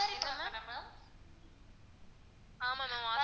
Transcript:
என்ன ma'am? ஆமா ma'am offer